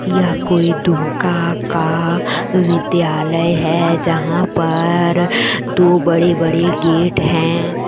यह कोई दुमका का विद्यालय है जहां पर दो बड़े-बड़े गेट है।